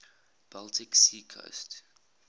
baltic sea coast